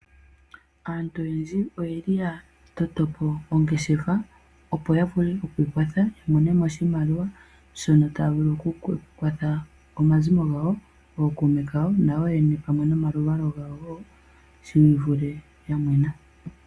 Aantu oyendji oyeli haya toto po ongeshefa opo yavule oku kwatha yamonemo oshimaliwa shono taya vulu oku kwatha omazimo gawo nayo yoyene nomaluvalo gawo shivule ya mwena.